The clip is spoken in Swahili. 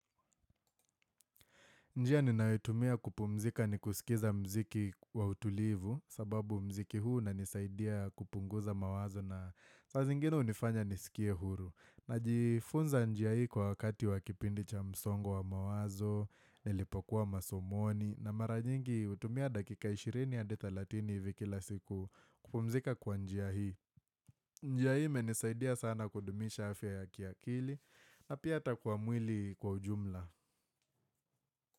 Njia ninayoitumia kupumzika ni kusikiza mziki wa utulivu sababu mziki huu unanisaidia kupunguza mawazo na saa zingine hunifanya nisikie huru. Najifunza njia hii kwa wakati wakipindi cha msongo wa mawazo, nilipokuwa masomoni na maranyingi hutumia dakika 20 hadi 30 hivi kila siku kupumzika kwa njia hii. Njia hii imenisaidia sana kudumisha afya ya kiakili na pia ata kwa mwili kwa ujumla.